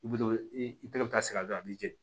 I bi to i tɛgɛ bɛ taa se a dɔn a b'i jeni